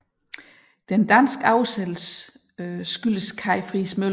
Den danske oversættelse skyldes Kai Friis Møller